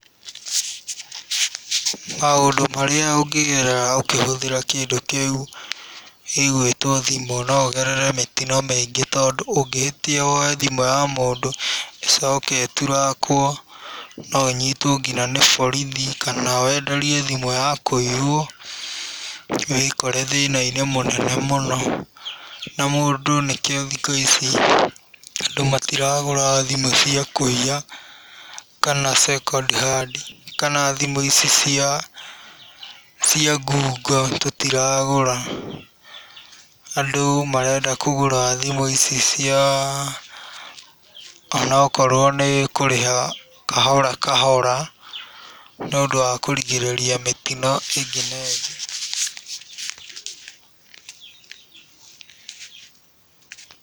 Maũndũ marĩa ũngĩgerera ũkĩhũthĩra kĩndũ kĩu gĩgwĩtwo thĩmũ, no ũgerere mĩtino mĩingĩ, tondũ ũngĩhĩtia woye thimũ ya mũndũ ĩcoke ĩtirakwo no ũnyitwo nginya na borithi, kana wenderio thimu ya kũiywo, wĩkore thĩna-inĩ mũnene mũno, na mũndũ nĩkĩo thĩkũ ici, andũ matiragũra thimũ cia kũiya kana second hand kana thimũ ici cia ngungo tũtiragũra. Andũ marenda kũgũra thimũ ici cia, onokorwo nĩ kũrĩha kahora kahora, nĩũndũ wa kũrigĩrĩria mĩtino ĩngĩ na ĩngĩ.